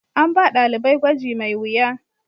An ba dalibai gwaji mai wuya.